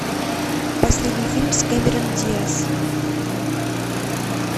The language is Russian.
последний фильм с кэмерон диаз